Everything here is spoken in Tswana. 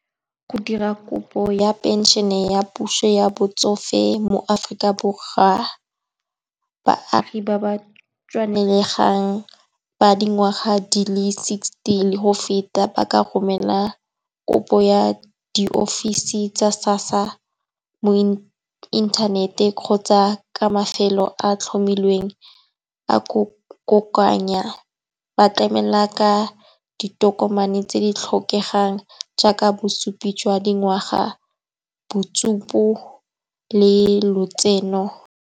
Go dira kopo ya phenšene ya puso ya botsofe mo Afrika Borwa, baagi ba ba tshwanelegang, ba dingwaga di le sixty le go feta ba ka romela kopo ya di ofisi tsa SASSA mo inthanete kgotsa ka mafelo a tlhomilweng a kokoanya. Ba tlamela ka ditokomane tse di tlhokegang jaaka bosupi jwa dingwaga, le lotseno